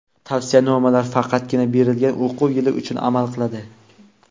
Tavsiyanomalar faqatgina berilgan o‘quv yili uchun amal qiladi.